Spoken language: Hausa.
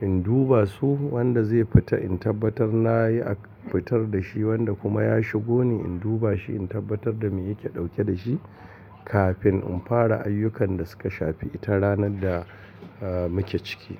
In duba su wanda zai fita in tabbatar na yi a fitar da shi wanda kuma ya shigo ne in duba shi in tabbatar da me yake ɗauke da shi kafin in fara ayyukan da suka shafi ita ranar da aah muke ciki.